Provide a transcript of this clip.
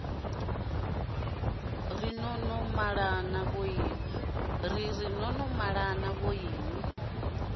ri no no malana vhoinwi